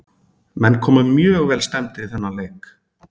Menn komu mjög vel stemmdir í þennan leik.